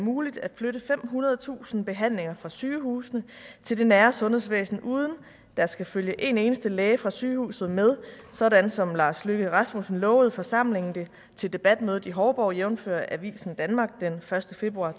muligt at flytte femhundredetusind behandlinger fra sygehusene til det nære sundhedsvæsen uden at der skal følge en eneste læge fra sygehuset med sådan som lars løkke rasmussen lovede forsamlingen til debatmødet i hovborg jævnfør avisen danmark den første februar